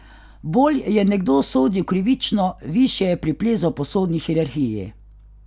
Bolj je nekdo sodil krivično, višje je priplezal po sodni hierarhiji.